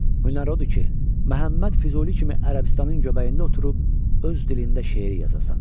Hünər odur ki, Məhəmməd Füzuli kimi Ərəbistanın göbəyində oturub öz dilində şeir yazasan.